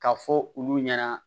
Ka fɔ olu ɲɛna